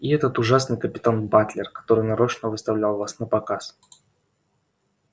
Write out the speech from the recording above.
и этот ужасный капитан батлер который нарочно выставлял вас напоказ